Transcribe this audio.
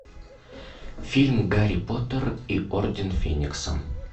фильм гарри поттер и орден феникса